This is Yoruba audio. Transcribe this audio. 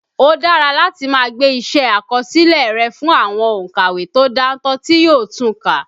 Ó dára láti máa gbé iṣẹ́ àkọsílẹ̀ rẹ fún àwọn òǹkàwé tó dáńtọ́ tí yóò tun kà